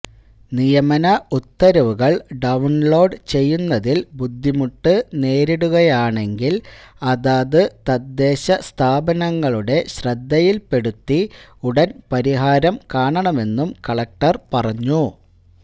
നിയമന ഉത്തരവുകള് ഡൌണ്ലോഡ് ചെയ്യുന്നതില് ബുദ്ധമുട്ട് നേരിടുകയാണെങ്കില് അതത് തദ്ദേശ സ്ഥാപനങ്ങളുടെ ശ്രദ്ധയില്പ്പെടുത്തി ഉടന് പരിഹാരം കാണണമെന്നും കളക്ടര് പറഞ്ഞു